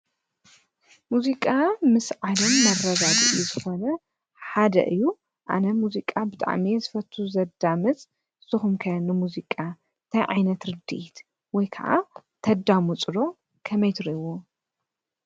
ሙዚቃ ምስ ዓለም መብረዛድ እዩ ዝኾነ ሓደ እዩ፡፡ ኣነ ሙዚቃ ብጣዕሚ ዝፈቱ ዘዳምፅ ንስኹም ከ ሙዚቃ ታይ ዓይነት ርድኢት ወይ ከዓ ተዳምፁ ዶ ከመይ ትርእይዎ?